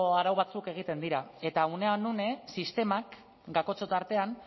arau batzuk egiten dira eta unean une sistemak kakotxen tartean